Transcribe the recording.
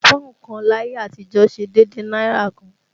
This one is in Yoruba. Pọ́ùn kan láyé àtijọ́ ṣe déédéé náírà kan